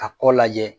Ka kɔ lajɛ